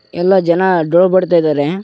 ಎಲ್ಲ ಜನ ಡೋಲ್ ಬಡಿತ ಇದ್ದಾರೆ.